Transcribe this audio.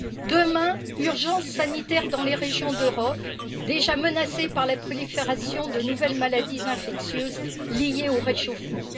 Demain, l'urgence sanitaire sera dans les régions d'Europe, déjà menacées par la prolifération de nouvelles maladies infectieuses liées au réchauffement.